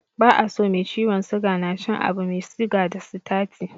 Ba a so mai ciwon suga na cin abu mai siga da sitati.